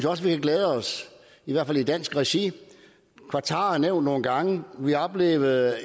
også vi kan glæde os i hvert fald i dansk regi qatar er nævnt nogle gange vi oplevede